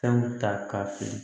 Fɛnw ta ka fili